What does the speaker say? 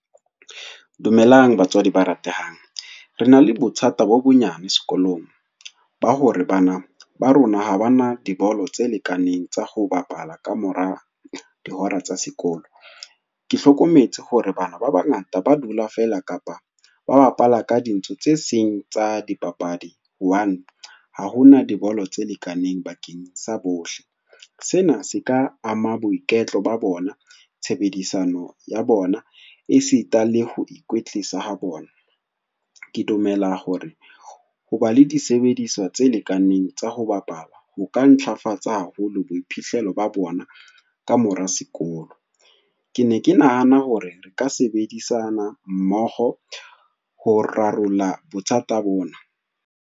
Dumelang batswadi ba ratehang, re na le bothata bo bonyane sekolong, ba hore bana ba rona ha ba na dibolo tse lekaneng tsa ho bapala ka mora hora tsa sekolo. Ke hlokometse hore bana ba bangata ba dula fela kapa ba bapala ka dintho tse seng tsa dipapadi, hobane ha hona dibolo tse lekaneng bakeng sa bohle, sena se ka ama boiketlo ba bona, tshebedisano ya bona, e sita le ho ikwetlisa ha bona. Ke dumela hore ho ba le disebediswa tse lekaneng tsa ho bapala ho ka ntlafatsa haholo boiphihlelo ba bona ka mora sekolo. Ke ne ke nahana hore re ka sebedisana mmoho ho rarolla bothata bona.